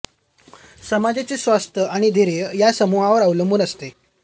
समाजाचे स्वास्थ्य आणि स्थैर्य या समूहांवर अवलंबून असते